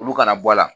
Olu kana bɔ a la